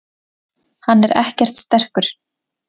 Hann er ekkert sterkur.